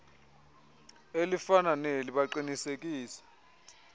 elifana neli baqiniseke